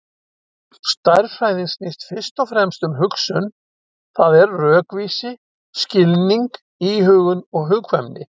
Stærðfræðin snýst fyrst og fremst um hugsun, það er rökvísi, skilning, íhugun og hugkvæmni.